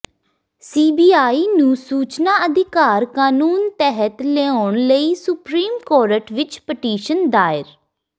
CBI ਨੂੰ ਸੂਚਨਾ ਅਧਿਕਾਰ ਕਾਨੂੰਨ ਤਹਿਤ ਲਿਆਉਣ ਲਈ ਸੁਪਰੀਮ ਕੋਰਟ ਵਿੱਚ ਪਟੀਸ਼ਨ ਦਾਇਰ